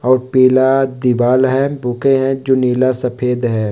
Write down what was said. और पीला दीवाल है बुके हैं जो नीला सफ़ेद है ।